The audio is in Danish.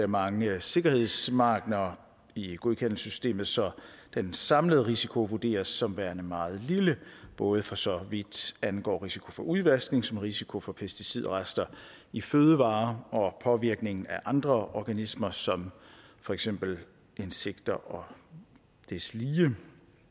mange sikkerhedsmarginer i godkendelsessystemet så den samlede risiko vurderes som værende meget lille både for så vidt angår risiko for udvaskning som risiko for pesticidrester i fødevarer og påvirkning af andre organismer som for eksempel insekter og deslige